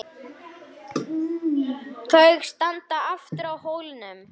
Ég man þetta óljóst.